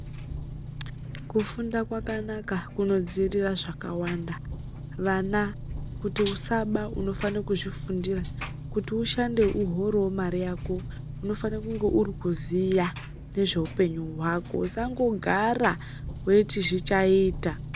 Kufunda kwakanaka kunodziirira zvakawanda, vana kuti usaba unofanire kuzvifundira, ushande uhorewo mare yako unofane uri kuziya nezveupenyu usangogara weiti zvichaita.